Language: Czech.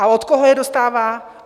A od koho je dostává?